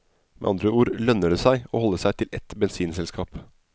Med andre ord lønner det seg å holde seg til ett bensinselskap.